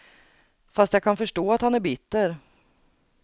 Fast jag kan förstå att han är bitter.